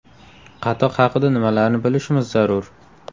Qatiq haqida nimalarni bilishimiz zarur?.